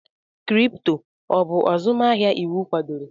Kripto, ọ bụ azụmahịa iwu kwadoro?